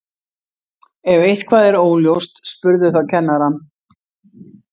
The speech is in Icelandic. ef eitthvað er óljóst spurðu þá kennarann